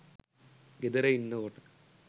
ගෙදර ඉන්නකොට